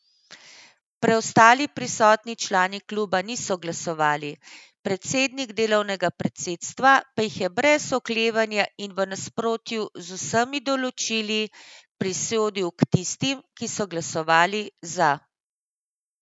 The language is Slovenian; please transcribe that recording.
Preostali prisotni člani kluba niso glasovali, predsednik delovnega predsedstva pa jih je brez oklevanja in v nasprotju z vsemi določili prisodil k tistim, ki so glasovali za.